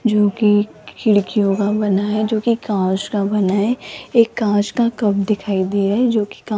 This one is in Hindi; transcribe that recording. जो की खिड़कियों का बना है जो की कांच का बना है एक कांच का कप दिखाई दे रहा है जो की का --